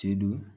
Te don